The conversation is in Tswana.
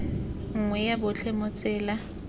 nngwe ya botlhe mo tsela